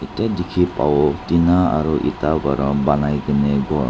etia dekhi babo tina aro eta bara round ponai kine ghor--